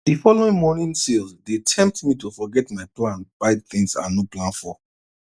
the following morning sales dey tempt me to forget my plan buy things i no plan for